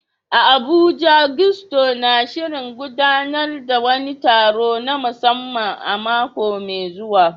A Abuja, Gusto na shirin gudanar da wani taro na musamman a mako mai zuwa.